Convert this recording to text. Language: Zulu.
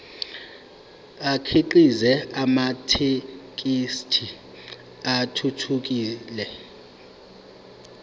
akhiqize amathekisthi athuthukile